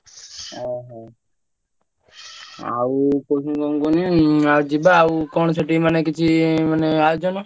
ଓହୋ। ଆଉ କହୁଥିନି କଣ କୁହନିଆଉ ଯିବା ଆଉ କଣ ସେଠି ମାନେ କିଛି ମାନେ ଆୟୋଜନ?